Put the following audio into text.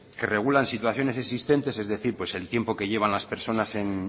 que regulan situaciones existentes es decir pues el tiempo que llevan las personas